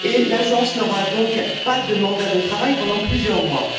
L'Agence n'aura donc pas de mandat de travail pendant plusieurs mois.